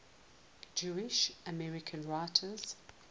jewish american writers